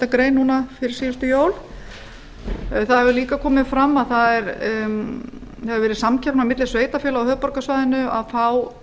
grein fyrir síðustu jól það hefur líka komið fram að það hefur verið samkeppni á milli sveitarfélaga á höfuðborgarsvæðinu og þá